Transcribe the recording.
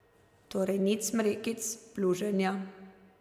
Torej nič smrekic, pluženja.